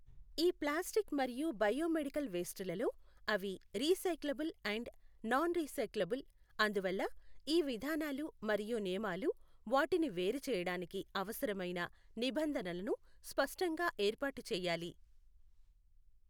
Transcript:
ఈ ప్లాస్టిక్ మరియు bio medical waste లలో అవి రీసైక్లబుల్ అండ్ నాన్ రీసైక్లబుల్, అందువల్ల ఈ విధానాలు మరియు నియమాలు వాటిని వేరుచేయడానికి అవసరమైన నిబంధనలను స్పష్టంగా ఏర్పాటు చేయాలి.